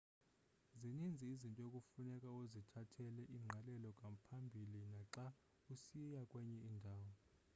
zininzi izinto ekufuneka uzithathele ingqalelo ngaphambili naxa usiya kwenye indawo